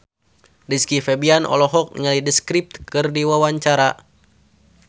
Rizky Febian olohok ningali The Script keur diwawancara